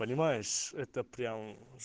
понимаешь это прям